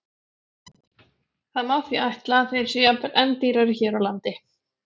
Það má því ætla að þeir séu jafnvel enn dýrari hér á landi.